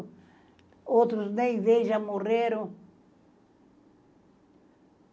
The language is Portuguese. Outros, nem vejo, já morreram.